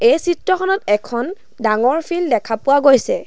এই চিত্ৰখনত এখন ডাঙৰ ফিল্ড দেখা পোৱা গৈছে।